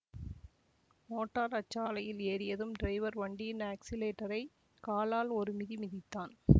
motor அச்சாலையில் ஏறியதும் driver வண்டியின் ஆக்ஸிலேட்டரைக் காலால் ஒரு மிதி மிதித்தான்